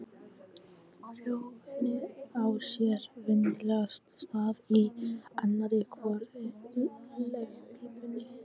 Frjóvgunin á sér venjulegast stað í annarri hvorri legpípunni.